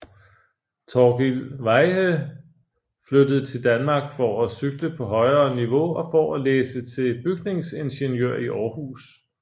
Torkil Veyhe flyttede til Danmark for at cykle på højere niveau og for at læse til bygningsingeniør i Århus